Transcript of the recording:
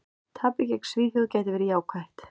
Tapið gegn Svíþjóð gæti verið jákvætt.